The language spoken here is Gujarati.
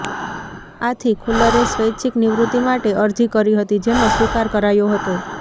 આથી ખુલ્લરે સ્વૈચ્છિક નિવૃત્તિ માટે અરજી કરી હતી જેનો સ્વીકાર કરાયો હતો